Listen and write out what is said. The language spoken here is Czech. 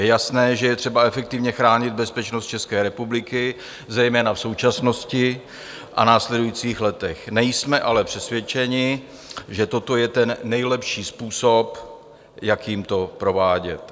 Je jasné, že je třeba efektivně chránit bezpečnost České republiky, zejména v současnosti a v následujících letech, nejsme ale přesvědčeni, že toto je ten nejlepší způsob, jakým to provádět.